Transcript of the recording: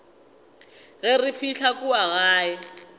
ge re fihla kua gae